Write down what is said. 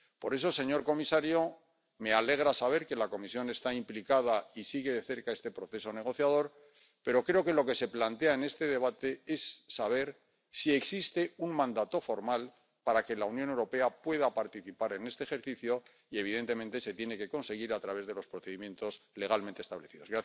Por eso, señor comisario, me alegra saber que la Comisión está implicada y sigue de cerca este proceso negociador, pero creo que lo que se plantea en este debate es saber si existe un mandato formal para que la Unión Europea pueda participar en este ejercicio, y evidentemente se tiene que conseguir a través de los procedimientos legalmente establecidos.